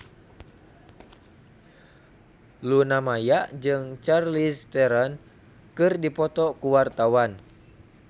Luna Maya jeung Charlize Theron keur dipoto ku wartawan